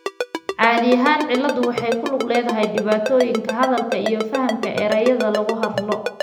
Caadi ahaan cilladdu waxay ku lug leedahay dhibaatooyinka hadalka iyo fahamka erayada lagu hadlo.